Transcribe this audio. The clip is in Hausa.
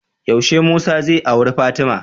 Yaushe musa zai auri fatima?